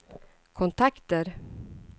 kontakter